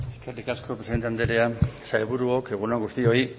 eskerrik asko presidente andrea sailburuok egun on guztioi